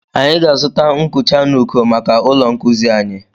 Anyị ga-azụta nkucha n'uko maka ụlọ nkuzi anyi.